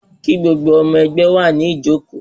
Kí gbogbo ọmọ ẹgbẹ́ wà ní ìjókóó